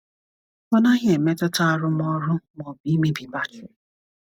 Ọ naghị emetụta arụmọrụ ma ọ bụ imebi batrị.